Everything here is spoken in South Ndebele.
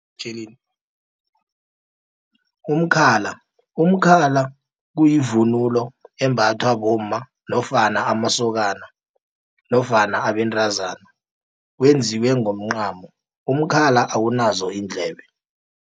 Umkhala, umkhla kuyivunulo embathwa bomma, nofana amasokana, nofana abentazana, wenziwe ngomncamo. Umkhala awunazo iindlebe.